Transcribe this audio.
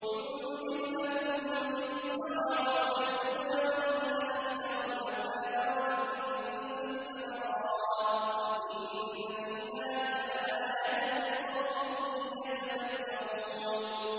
يُنبِتُ لَكُم بِهِ الزَّرْعَ وَالزَّيْتُونَ وَالنَّخِيلَ وَالْأَعْنَابَ وَمِن كُلِّ الثَّمَرَاتِ ۗ إِنَّ فِي ذَٰلِكَ لَآيَةً لِّقَوْمٍ يَتَفَكَّرُونَ